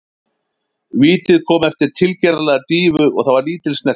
Vítið kom eftir tilgerðarlega dýfu og það var lítil snerting.